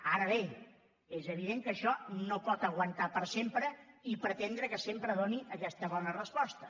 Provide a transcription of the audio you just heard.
ara bé és evident que això no pot aguantar per sempre i pretendre que sempre doni aquesta bona resposta